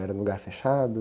Era num lugar fechado?